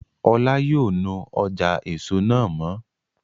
Ọlá yóò nu ọjà èso náà mọ́